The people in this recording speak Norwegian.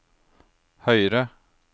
høyre